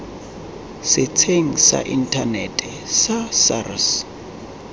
setsheng sa inthanete sa sars